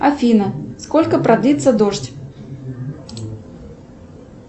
афина сколько продлится дождь